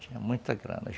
Tinha muita grana.